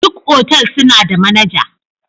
Duka otal suna da managa.